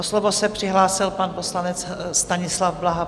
O slovo se přihlásil pan poslanec Stanislav Blaha.